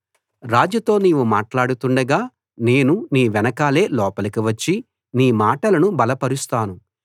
రాజుతో నీవు మాట్లాడుతుండగా నేను నీ వెనకాలే లోపలికి వచ్చి నీ మాటలను బలపరుస్తాను